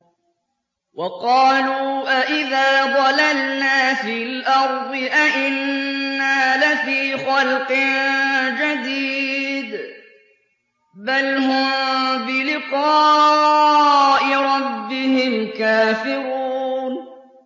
وَقَالُوا أَإِذَا ضَلَلْنَا فِي الْأَرْضِ أَإِنَّا لَفِي خَلْقٍ جَدِيدٍ ۚ بَلْ هُم بِلِقَاءِ رَبِّهِمْ كَافِرُونَ